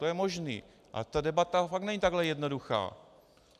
To je možné, ale ta debata fakt není takhle jednoduchá.